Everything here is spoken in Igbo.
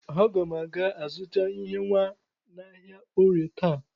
Aga m aga azụta ihe nwa n'ahịa Orie taa.